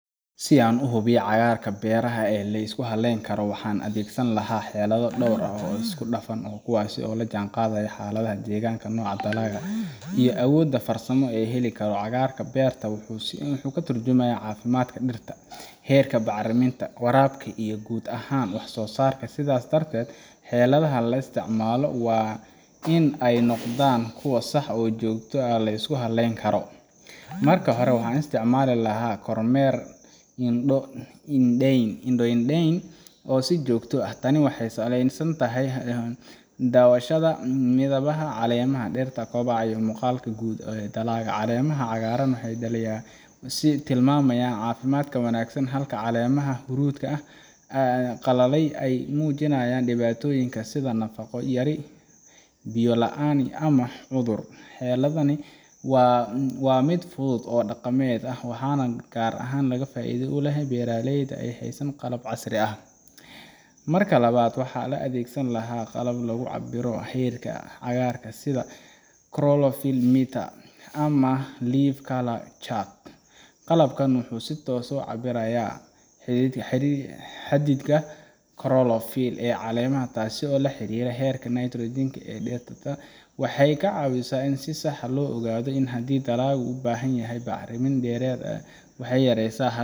Si aan u hubiyo cagarka beeraha ee la isku hallayn karo waxaan adeegsan lahaa xeelado dhowr ah oo isku dhafan oo kuwaasi oo la jaan qaadaysa xaaladaha deegaanka nooca dalaga iyo awoodda farsamo ee heli karo cagaarka beerta wuxuu si xoga turjumayo caafimaadka dhirta heerka bacriminta waraabka iyo guud ahaan wax soo saarka sidaas darteed xeeladaha la isticmaalo waa in ay noqdaan kuwo sax oo joogto ah la isku halleyn karo marka hore waxaan isticmaali kormeer indhoo inda ndeyn oo si jogto ah taani waxay saleysan tahay dawashada midawaha calemaha dheerta kobcaa iyo muqaalka guud ee dalalka caleemaha cagaaran waxay dhaliyaa wasiir tilmaamayaan caafimaadka wanaagsan halka caleemaha huruudka ah qalalay ay muujinayaan dhibaatooyinka sida naqo yari Biyo la aani ama xudur xeeladani waa miid fudud oo dhaqameed ah waxana si gaar ahan naga faa idde uleh beraaleyda ha sanin qalab carsi aah marka labaad waxaa loo adeegsan lahaa qalab lagu cabbiro xiriirka cagaarka sida chlorophyll meter ama leaf colour chart qalabka muxuu si toos ah u cabirayaa xidhi xiriir xadiidka chlorophyll caleemaha taasi oo la xiriira heerka nitrogen ee dhirta waxay ka caawisaa in si saax loo ogado iin .